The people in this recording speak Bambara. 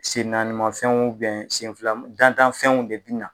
Sennaani mafɛnw sen fila dantanfɛnw de bi na.